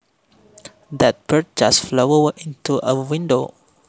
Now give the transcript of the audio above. That bird just flew into a window